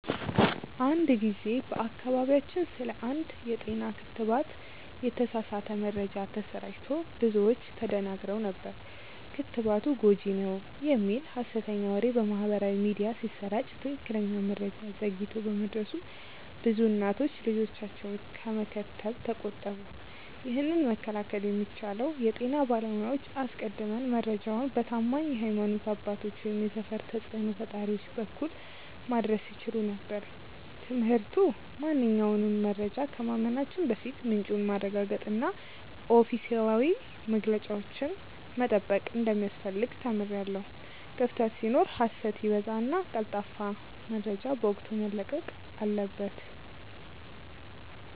አንድ ጊዜ በአካባቢያችን ስለ አንድ የጤና ክትባት የተሳሳተ መረጃ ተሰራጭቶ ብዙዎች ተደናግረው ነበር። ክትባቱ ጎጂ ነው" የሚል ሀሰተኛ ወሬ በማህበራዊ ሚዲያ ሲሰራጭ ትክክለኛ መረጃ ዘግይቶ በመድረሱ ብዙ እናቶች ልጆቻቸውን ከመከተብ ተቆጠቡ። ይህንን መከላከል የሚቻለው የጤና ባለሙያዎች አስቀድመው መረጃውን በታማኝ የሀይማኖት አባቶች ወይም የሰፈር ተጽእኖ ፈጣሪዎች በኩል ማድረስ ሲችሉ ነበር። ትምህርቱ ማንኛውንም መረጃ ከማመናችን በፊት ምንጩን ማረጋገጥና ኦፊሴላዊ መግለጫዎችን መጠበቅ እንደሚያስፈልግ ተምሬያለሁ። ክፍተት ሲኖር ሀሰት ይበዛልና ቀልጣፋ መረጃ በወቅቱ መለቀቅ አለበት።